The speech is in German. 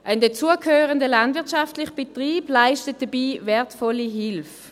Der zugehörige landwirtschaftliche Betrieb leistet dabei wertvolle Hilfe.